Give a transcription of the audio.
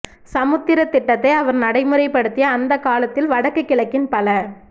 சமுர்த்தித் திட்டத்தை அவர் நடைமுறைப்படுத்திய அந்தக் காலத்தில் வடக்கு கிழக்கின் பல